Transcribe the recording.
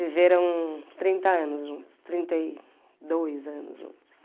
Viveram trinta anos juntos, trinta e dois anos juntos.